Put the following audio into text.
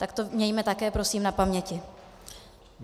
Tak to mějme také prosím na paměti.